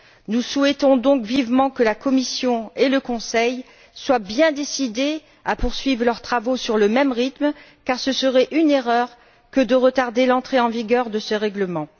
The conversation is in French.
Nous souhaitons donc vivement que la Commission et le Conseil soient bien décidés à poursuivre leurs travaux sur le même rythme, car ce serait une erreur que de retarder l'entrée en vigueur de ce règlement.